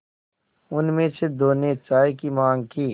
उनमें से दो ने चाय की माँग की